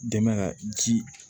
Dɛmɛ ji